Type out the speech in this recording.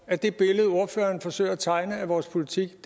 at det billede ordføreren forsøger at tegne af vores politik